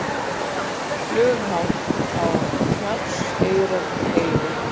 Flughált á Hrafnseyrarheiði